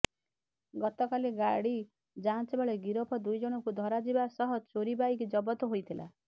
ଗତକାଲି ଗାଡ଼ି ଯାଞ୍ଚବେଳେ ଗିରଫ ଦୁଇଜଣଙ୍କୁ ଧରାଯିବା ସହ ଚୋରି ବାଇକ୍ ଜବତ ହୋଇଥିଲା